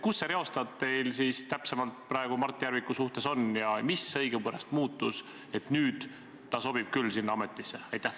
Kus see reostaat teil täpsemalt praegu Mart Järviku suhtes on ja mis õigupärast muutus, et nüüd ta sobib küll sinna ametisse?